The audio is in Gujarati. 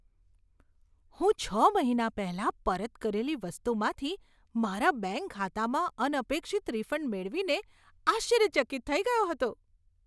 હું છ મહિના પહેલાં પરત કરેલી વસ્તુમાંથી મારા બેંક ખાતામાં અનપેક્ષિત રિફંડ મેળવીને આશ્ચર્યચકિત થઈ ગયો હતો.